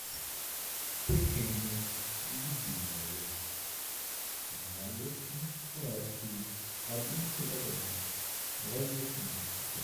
печенье любимое молочный сладкий один килограмм развесной